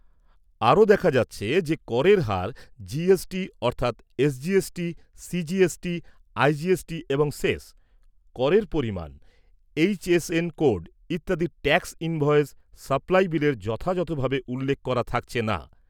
আরো দেখা যাচ্ছে যে করের হার জি এস টি, অর্থাৎ S G S T, C G S T, I G S T এবং সেস , করের পরিমান, এইচ এস এন কোড ইত্যাদি ট্যাক্স ইনভয়েস সাপ্লাই বিলের যথাযথভাবে উল্লেখ করা থাকছে না।